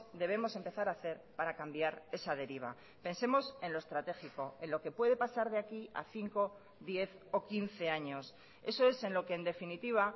debemos empezar a hacer para cambiar esa deriva pensemos en lo estratégico en lo que puede pasar de aquí a cinco diez o quince años eso es en lo que en definitiva